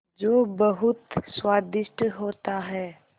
जो बहुत स्वादिष्ट होता है